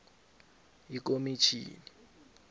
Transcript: ikomitjhini